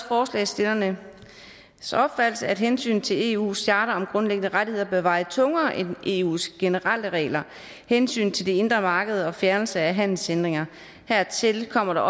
forslagsstillernes opfattelse at hensynet til eu’s charter om grundlæggende rettigheder bør veje tungere end eus generelle regler hensynet til det indre marked og fjernelse af handelshindringer hertil kommer